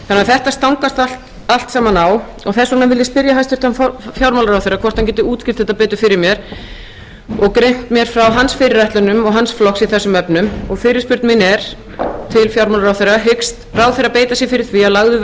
þetta stangast allt saman á og þess vegna spyr ég hæstvirtan fjármálaráðherra hvort hann geti útskýrt þetta betur fyrir mér og greint mér frá fyrirætlunum sínum og flokks hans í þessum efnum fyrirspurn mín til fjármálaráðherra er hyggst ráðherra beita sér fyrir því að lagður